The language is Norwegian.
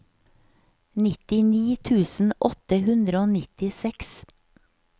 nittini tusen åtte hundre og nittiseks